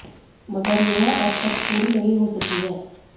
मगर यह अब तक पूरी नहीं हो सकी है